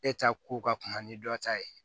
E ta ko ka kuma ni dɔ ta ye